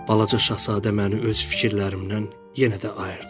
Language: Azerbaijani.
Balaca Şahzadə məni öz fikirlərimdən yenə də ayırdı.